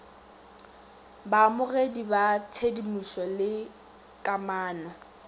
baamogedi ba tshedimošo le kamano